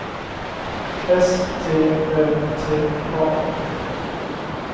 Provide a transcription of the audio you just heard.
S T Ö T A